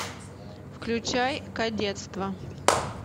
включай кадетство